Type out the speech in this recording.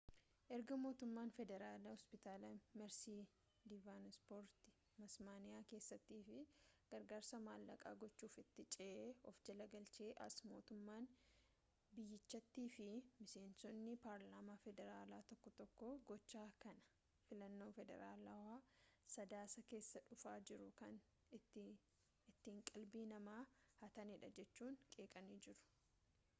erga mootummaan federaalaa hospitaala meersii diivanpoorti tasmaaniyaa keessaatiif gargaarsa maallaqaa gochuuf itti ce'ee of jala galchee as mootummaan biyyichaatii fi miseensonni paarlaamaa federaalaa tokko tokko gocha kana filannoo federaalaa sadaasa keessaa dhufaa jiruuf kan ittiin qalbii namaa hatanidha jechuun qeeqanii jiru